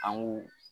An k'u